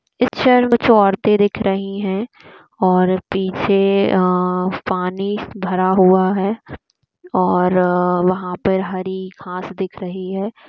Picture में कुछ औरते दिख रही हैं और पीछे अ-अ पानी भरा हुआ है और वहां पर हरी घांस दिख रही है।